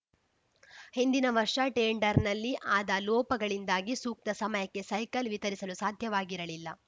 ಹಿಂದಿನ ವರ್ಷ ಟೆಂಡರ್‌ನಲ್ಲಿ ಆದ ಲೋಪಗಳಿಂದಾಗಿ ಸೂಕ್ತ ಸಮಯಕ್ಕೆ ಸೈಕಲ್‌ ವಿತರಿಸಲು ಸಾಧ್ಯವಾಗಿರಲಿಲ್ಲ